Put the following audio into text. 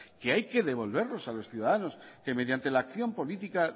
que hay que devolverlos a los ciudadanos que mediante la acción política